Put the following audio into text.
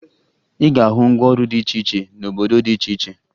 Ị ga-ahụ ngwaọrụ dị iche cihe n'obodo dị iche iche